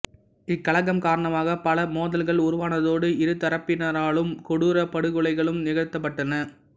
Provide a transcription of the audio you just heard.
இக்கலகம் காரணமாகப் பல மோதல்கள் உருவானதோடு இருதரப்பினராலும் கொடூரப் படுகொலைகளும் நிகழ்த்தப்பட்டன